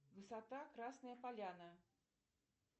высота красная поляна